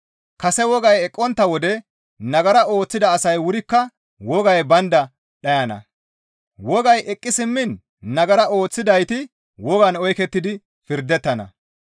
Kase wogay eqqontta wode nagara ooththida asay wurikka wogay baynda dhayana; wogay eqqi simmiin nagara ooththidayti wogan oykettidi pirdettana.